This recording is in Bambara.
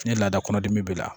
Ni laada kɔnɔdimi b'i la